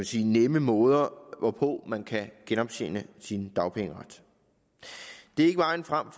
sige nemme måder hvorpå man kan genoptjene sin dagpengeret det er ikke vejen frem